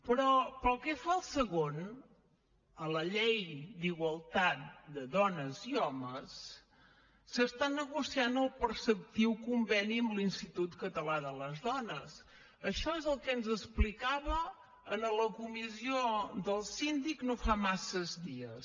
però pel que fa al segon la llei d’igualtat de dones i homes s’està negociant el preceptiu conveni amb l’institut català de les dones això és el que ens explicava en la comissió del síndic no fa massa dies